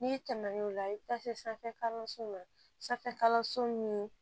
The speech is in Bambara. N'i tɛmɛn'o la i bɛ taa se sanfɛ kalanso ma sanfɛ kalanso ni